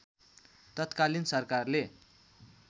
तात्कालिन सरकारले